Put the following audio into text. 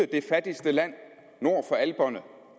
det fattigste land nord for alperne